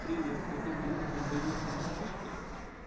привет этот звук издаёт мартышка